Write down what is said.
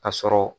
Ka sɔrɔ